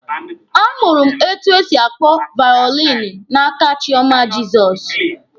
A mụrụ m etu e si akpọ vaolini n'aka Chioma Jizọs.